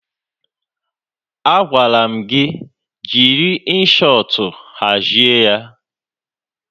Agwara m gị jiri Inshọtụ hazie ya!